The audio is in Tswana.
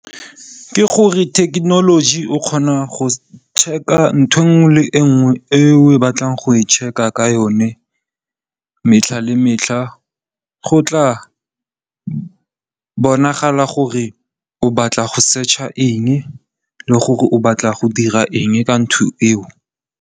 Ke gore thekenoloji o kgona go check-a ntho e nngwe le e nngwe e o batlang go e check-a ka yone metlha le metlha. Go tla bonagala gore o batla go setšha eng le gore o batla go dira eng ka ntho eo.